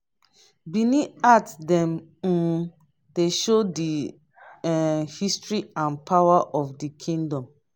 benin art dem um dey show di um history and power of di kingdom.